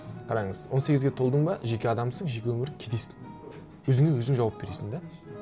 қараңыз он сегізге толдың ба жеке адамсың жеке өмірің кетесің өзіңе өзің жауап бересің де